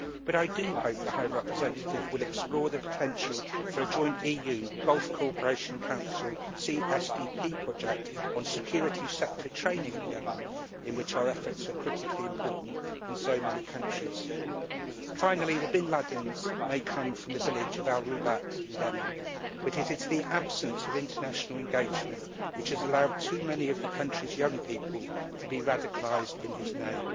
But I do hope the High Representative will explore the potential for a joint EU Gulf Cooperation Council CSDP project on security sector training in Yemen, in which our efforts are critically important in so many countries. Finally, the Bin Ladens may come from the village of Al Rubat in Yemen, but it is the absence of international engagement which has allowed too many of the country's young people to be radicalised in his name.